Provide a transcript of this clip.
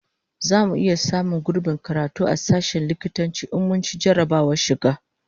Zamu iya samun gurbin karatu a sashen likitanci in mun ci jarrabawar shiga?